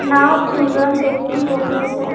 নাওঁত দুজন ব্যক্তি বহি আছে।